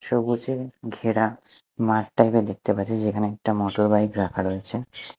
সবুজে ঘেরা মাঠ টাইপের -এর দেখতে পাচ্ছি যেখানে একটা মটরবাইক রাখা রয়েছে।